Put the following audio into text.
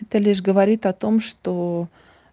это лишь говорит о том что